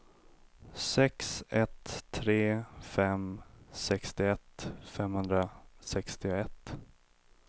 sex ett tre fem sextioett femhundrasextioett